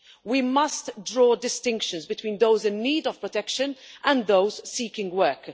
We must draw distinctions between those in need of protection and those seeking work.